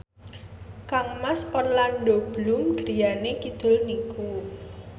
kangmas Orlando Bloom griyane kidul niku